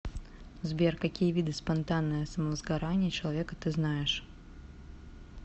сбер какие виды спонтанное самовозгорание человека ты знаешь